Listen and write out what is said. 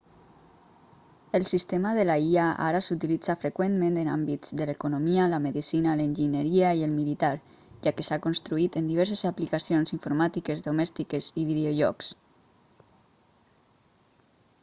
el sistema de la ia ara s'utilitza freqüentment en àmbits de l'economia la medicina l'enginyeria i el militar ja que s'ha construït en diverses aplicacions informàtiques domèstiques i videojocs